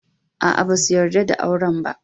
Aa, ba su yarda da auren ba.